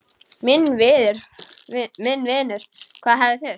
Minn vinur, hvað hefði þurft?